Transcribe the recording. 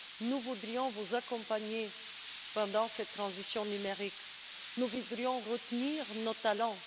nous voudrions vous accompagner dans cette transition numérique, nous voudrions retenir nos talents.